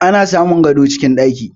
Ana samun gado cikin ɗaki